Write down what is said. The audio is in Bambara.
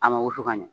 A ma wusu ka ɲɛ